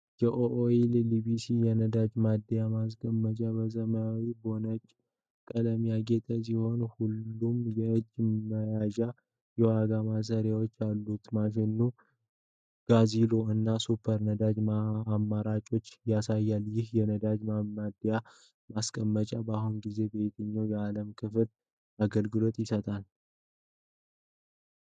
የኦአይል ሊቢያ የነዳጅ ማደያ ማስቀመጫ፣ በሰማያዊና በነጭ ቀለም ያጌጠ ሲሆን፣ ሁለት የእጅ መያዣዎችና የዋጋ ማሳያዎች አሉት። ማሽኑ የ"GASOIL" እና "SUPER" ነዳጅ አማራጮችን ያሳያል። ይህ የነዳጅ ማደያ ማስቀመጫ በአሁኑ ጊዜ በየትኞቹ የዓለም ክፍሎች አገልግሎት ይሰጣል?